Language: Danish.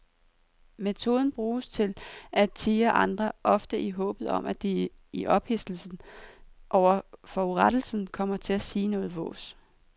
Metoden bruges til at tirre andre, ofte i håbet om at de i ophidselsen over forurettelsen kommer til at sige noget vås.